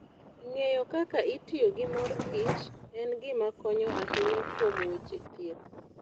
Ng'eyo kaka itiyo gi mor kich en gima konyo ahinya kuom weche thieth.